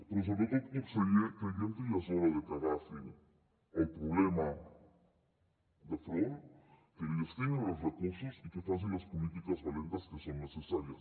però sobretot conseller creiem que ja és hora de que agafin el problema de front que hi destinin els recursos i que facin les polítiques valentes que són necessàries